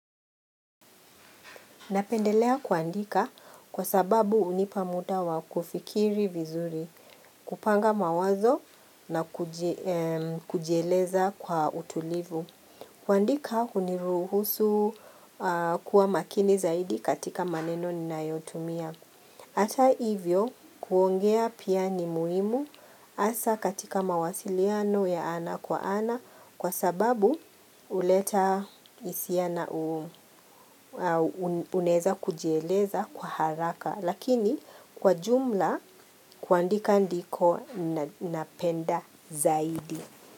Napendelea kuandika kwa sababu hunipa muda wa kufikiri vizuri, kupanga mawazo na kujieleza kwa utulivu. Kuandika huniruhusu kuwa makini zaidi katika maneno ninayotumia. Ata hivyo kuongea pia ni muhimu hasa katika mawasiliano ya ana kwa ana kwa sababu huleta hisia na unaeza kujieleza kwa haraka lakini kwa jumla kuandika ndiko napenda zaidi.